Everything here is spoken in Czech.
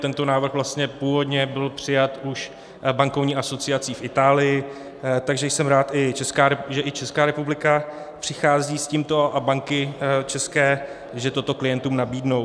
Tento návrh vlastně původně byl přijat už bankovní asociací v Itálii, takže jsem rád, že i Česká republika přichází s tímto a banky české že toto klientům nabídnou.